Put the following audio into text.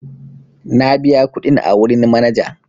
Na biya kuɗin a wurin manaja.